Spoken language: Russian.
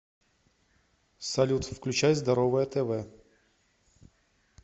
салют включай здоровое тв